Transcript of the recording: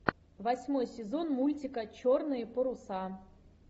восьмой сезон мультика черные паруса